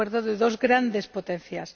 un acuerdo de dos grandes potencias.